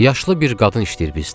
Yaşlı bir qadın işləyir bizdə.